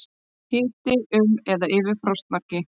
Hiti um eða yfir frostmarki